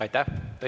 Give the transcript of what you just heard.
Aitäh!